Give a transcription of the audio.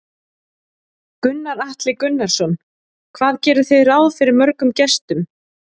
Gunnar Atli Gunnarsson: Hvað gerið þið ráð fyrir mörgum gestum?